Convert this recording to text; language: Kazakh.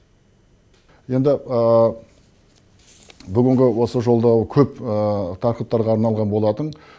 енді бүгінгі осы жолдау көп тақырыптарға арналған болатын